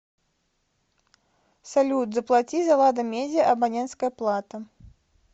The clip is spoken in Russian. салют заплати за лада медиа абонентская плата